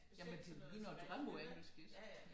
Jamen du begynder at drømme på engelsk